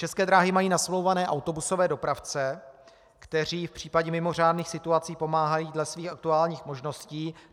České dráhy mají nasmlouvané autobusové dopravce, kteří v případě mimořádných situací pomáhají dle svých aktuálních možností.